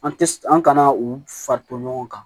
An tɛ an kana u fari to ɲɔgɔn kan